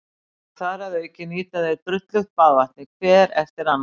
Og þar að auki nýta þeir drullugt baðvatnið hver eftir annan.